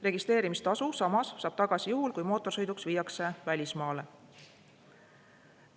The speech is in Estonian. Registreerimistasu samas saab tagasi juhul, kui mootorsõiduk viiakse välismaale.